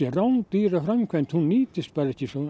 rándýra framkvæmd hún nýtist ekki